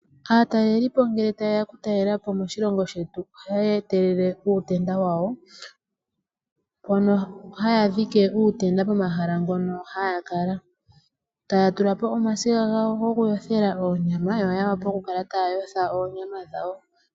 Aatalelipo ngele tayeya oku talelapo moshilongo shetu ohaya etelele uutenda wayo. Mono haya dhike uutenda pomahala ngono haya kala . Taya tulapo omasiga ngono goku yothela oonyama yo ya wape oku kala taya yotha oonyama dhawo .